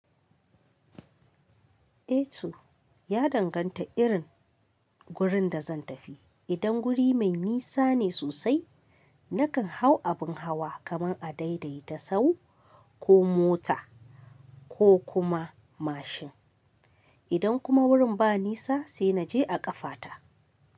Eh to, ya danganta irin gurin da zan tafi idan guri mai nisa ne sosai, nakan hau abin hawa kamar a daidaita sau ko mota ko kuma mashin. Idan kuma wurin ba nis sai naje a ƙafata.